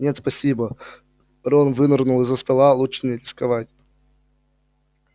нет спасибо рон вынырнул из-за стола лучше не рисковать